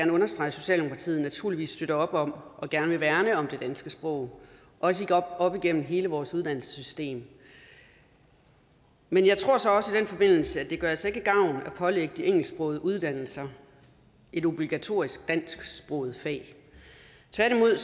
understrege at socialdemokratiet naturligvis støtter op om og gerne vil værne om det danske sprog også op igennem hele vores uddannelsessystem men jeg tror så også i den forbindelse at det altså ikke gør gavn at pålægge de engelsksprogede uddannelser et obligatorisk dansksproget fag tværtimod